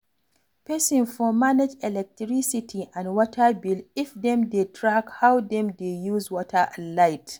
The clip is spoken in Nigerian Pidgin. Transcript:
Person for manage electricity and water bill if dem dey track how dem dey use water and light